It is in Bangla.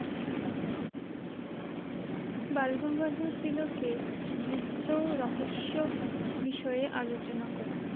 বালগঙ্গাধর তিলকের গীত্য রহস্য বিষয়ে আলোচনা করো